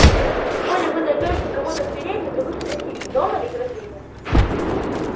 коли вы найдёте кого-то в передней то вы спросите дома ли графиня